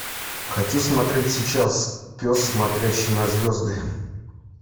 хочу смотреть сейчас пес смотрящий на звезды